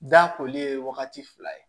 Da koli ye wagati fila ye